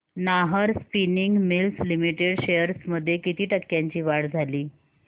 Nahar spinning mills limited shares मध्ये किती टक्क्यांची वाढ झाली